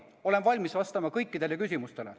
Olen valmis vastama kõikidele küsimustele.